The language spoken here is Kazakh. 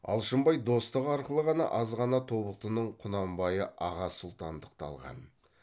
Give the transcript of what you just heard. алшынбай достығы арқылы ғана аз ғана тобықтының құнанбайы аға сұлтандықты алған